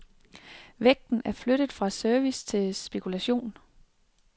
Vægten er flyttet fra service til spekulation.